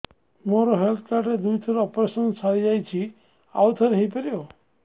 ମୋର health card ରେ ଦୁଇ ଥର ଅପେରସନ ସାରି ଯାଇଛି ଆଉ ଥର ହେଇପାରିବ